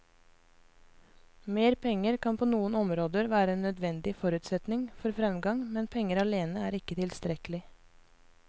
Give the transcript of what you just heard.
Mer penger kan på noen områder være en nødvendig forutsetning for fremgang, men penger alene er ikke tilstrekkelig.